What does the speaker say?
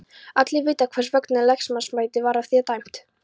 Allir vita hvers vegna lögmannsembættið var af þér dæmt!